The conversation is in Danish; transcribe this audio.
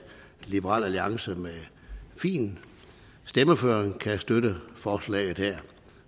liberal alliance med fin stemmeføring kan støtte forslaget her